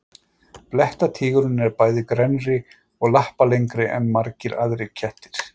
blettatígurinn er bæði grennri og lappalengri en margir aðrir kettir